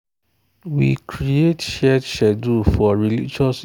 we create shared schedule for religious events way day important for the family. for the family.